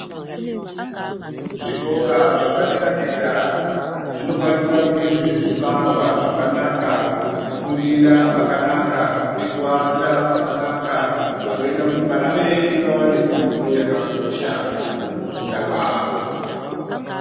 Zvikora zvepadera dera zvinofanira kunge zvine zvivakwa zvakanaka ,pekufundira pakanaka ,pekuata pakanaka panoite kuti vana vedu vawane dzidzo yakakosha mukufunda kwavo.